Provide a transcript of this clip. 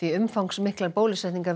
umfangsmiklar bólusetningar